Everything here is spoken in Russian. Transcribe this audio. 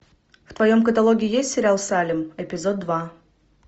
в твоем каталоге есть сериал салем эпизод два